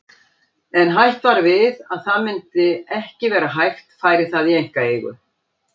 En hætt var við að það myndi ekki vera hægt færi það í einkaeigu.